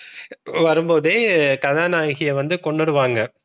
வரும்போதே கதாநாயகியை வந்து கொன்னுடுவாங்க.